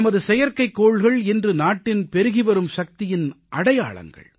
நமது செயற்கைக்கோள்கள் இன்று நாட்டின் பெருகிவரும் சக்தியின் அடையாளங்கள்